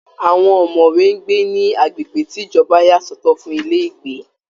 Àwọn ọ̀mọ̀wé ń gbé ní agbègbè tí ìjọba yà sọ̀tọ̀ fún ilé ìgbé